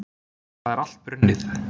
Það er allt brunnið.